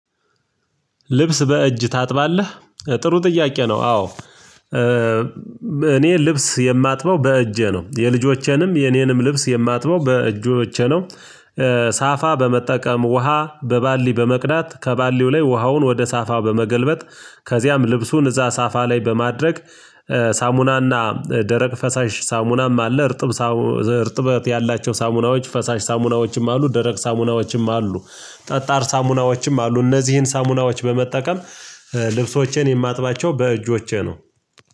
ልብስ በእጅ ታጥባለህ ጥሩ ጥያቄ ነው? አዎ እኔ ልብስ የማጥበው በእጄ ነው የልጆቼንም የኔንም ልብስ የማጥበው በእጆቼ ነው። ሳፋ በመጠቀም ውሃ በባሊ በመቅዳት ከባሊው ላይ ውሃውን ወደ ሳፋ በመገልበጥ ከዚያም ልብሱን እዛ ሳፋ ላይ በማድረግ ሳሙና ደረቅ ፈሳሽ ሳሙናም አለ። እርጥበት ያላቸው ሳሙናዎች ፈሳሽ ሳሙናዎችም አሉ ደረቅ ሳሙናዎችም አሉ ጠጣር ሳሙናዎችም አሉ። እነዚህን ሳሙናዎች በመጠቀም ልብሶቼን የማጥባቸው በእጆቼ ነው።